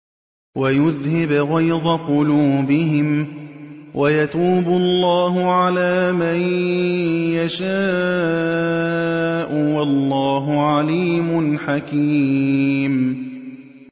وَيُذْهِبْ غَيْظَ قُلُوبِهِمْ ۗ وَيَتُوبُ اللَّهُ عَلَىٰ مَن يَشَاءُ ۗ وَاللَّهُ عَلِيمٌ حَكِيمٌ